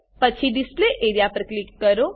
પછી display A R E A પર click કરો